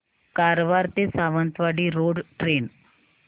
कारवार ते Sawantwadi road train